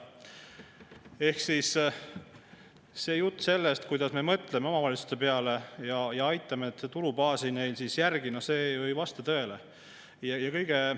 Ehk see jutt sellest, kuidas me mõtleme omavalitsuste peale ja aitame nende tulubaasi järele, ei vasta ju tõele.